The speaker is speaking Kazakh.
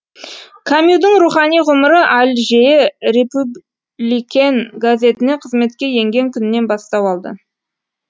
камюдің рухани ғұмыры альжее репюбликен газетіне қызметке енген күннен бастау алды